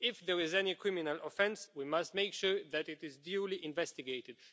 If there was any criminal offence, we must make sure that it is duly investigated.